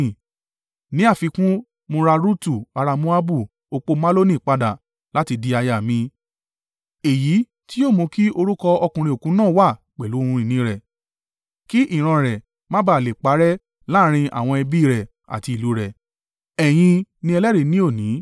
Ní àfikún, mo ra Rutu ará Moabu opó Maloni padà láti di aya mi. Èyí tí yóò mú kí orúkọ ọkùnrin òkú náà wà pẹ̀lú ohun ìní rẹ̀, kí ìran rẹ̀ má ba à lè parẹ́ láàrín àwọn ẹbí rẹ̀ àti ìlú rẹ̀. Ẹ̀yin ni ẹlẹ́rìí ní òní.”